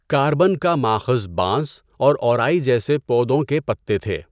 Carbon کا ماخذ بانس اور اوارئی جیسے پودوں کے پتے تھے۔